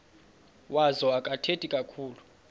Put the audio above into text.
wazo akathethi kakhulu